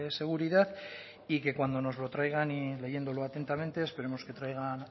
seguridad y que cuando nos lo traigan y leyéndolo atentamente esperemos que traigan